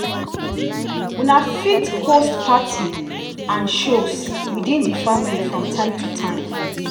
una fit host party and shows within di family from time to time